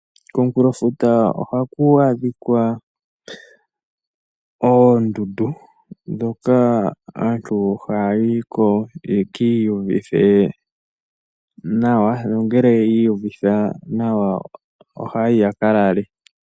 Komunkulo futa ohaku adhika oondundu hoka haku adhika oondundu. Aantu ohaya yiko ye kiiyuvithe nawa nongele ya yiko ohaya yi ya kalale.